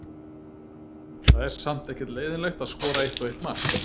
Það er samt ekkert leiðinlegt að skora eitt og eitt mark.